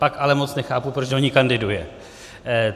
Pak ale moc nechápu, proč do ní kandiduje.